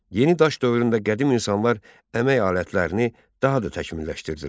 Yeni daş dövründə qədim insanlar əmək alətlərini daha da təkmilləşdirdilər.